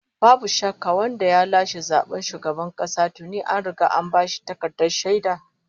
Babu shakka, wanda ya lashe zaben shugaban kasa tuni an riga an bashi takardar shaida!